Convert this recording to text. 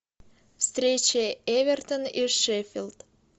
встреча эвертон и шеффилд